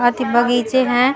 अथि बगीचे है ।